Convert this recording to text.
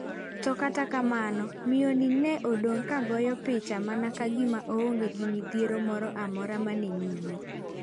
To kata kamano miyo ni ne odong' ka ogoyo picha mana ka gima onge midhiero mora mora maneni nyime?